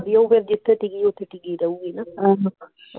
ਵਧੀਆ ਫੇਰ ਜਿਥੇ ਟਿਕੀ ਓਥੇ ਟਿਕੀ ਰਹੂਗੀ ਨਾ